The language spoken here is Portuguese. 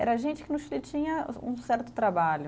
Era gente que no Chile tinha um certo trabalho.